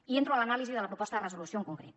i entro a l’anàlisi de la proposta de resolució en concret